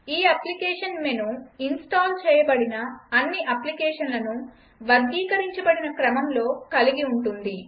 ఈ application menu install చేయబడిన అన్ని అప్లికేషన్లను వర్గీకరించబడిన క్రమంలో కలిగి ఉంటుంది